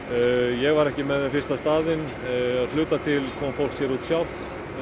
ég var ekki með þeim fyrstu á staðinn að hluta til kom fólk sér út sjálft